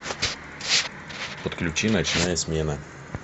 подключи ночная смена